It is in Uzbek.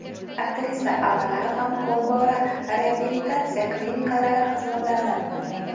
Aktrisa avvallari ham ko‘p bora reabilitatsiya klinikalari xizmatlaridan foydalangan.